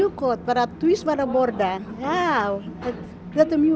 gott bara tvisvar að borða já þetta er mjög